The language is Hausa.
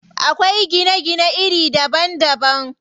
Akwai gine gine iri daban daban.